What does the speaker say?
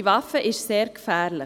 Diese Waffe ist sehr gefährlich.